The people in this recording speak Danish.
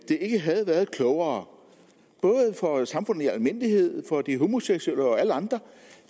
ikke havde været klogere både for samfundet i almindelighed for de homoseksuelle og alle andre